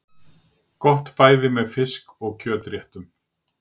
Gott bæði með fisk- og kjötréttum.